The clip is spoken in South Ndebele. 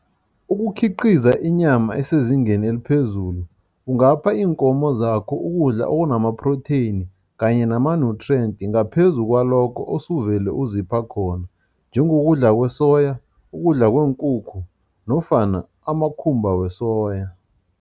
Ukukhiqiza inyama esezingeni eliphezulu, ungapha iinkomo zakho ukudla okunama-protein kanye nama-nutrients ngaphezu kwalokho osuvele uzipha khona, njengokudla kwesoya, ukudla kweenkukhu nofana amakhumba wesoya.